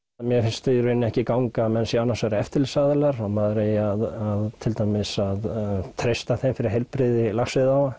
mér finnst í rauninni ekki ganga að menn séu annars vega eftirlitsaðilar og maður eigi að til dæmis að treysta þeim fyrir heilbrigði laxveiðiáa